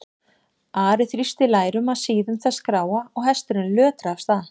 Ari þrýsti lærum að síðum þess gráa og hesturinn lötraði af stað.